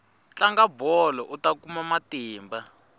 tlanga bolo uta kuma matimba